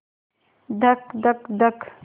धक धक धक